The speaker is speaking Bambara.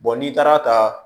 n'i taara ta